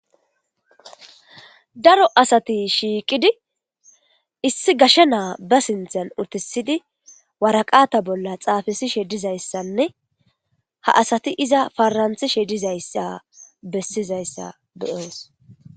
Daro asati shiiqidi issi gashe naa ba sinthan utissidi waraqata bolla xaafisishe dizayssanne ha asati iza faranthishe dizayssa bessizayssa be7oos.